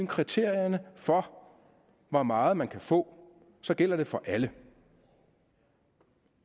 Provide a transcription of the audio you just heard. kriterierne for hvor meget man kan få så gælder det for alle